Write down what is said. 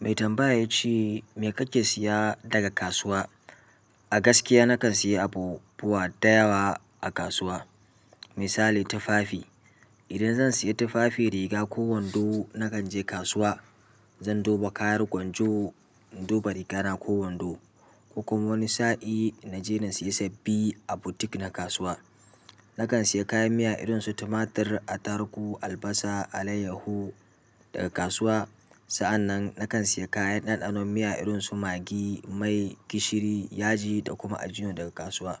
Mai tambaya ya ce, "Me kake siya daga kasuwa?" A gaskiya na kan sayi abubuwa da yawa, a kasuwa misali tufafi. Idan zan sayi tufafi, riga ko wando na kan je kasuwa. Zan duba kayar gwanjo in duba rigana ko wando. Ko kuma wani sa'i naje in sayi sabi a botik na kasuwa. Na kan siya kayan miya irin su tumatur, ataragu, albasa, alayyahu daga kasuwa. Sa'an nan na kan siya kayan ɗanɗanon miya irin su magi, mai, gishiri, yaji da kuma ajino daga kasuwa.